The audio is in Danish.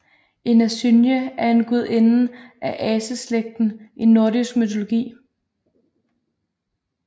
En asynje er en gudinde af aseslægten i nordisk mytologi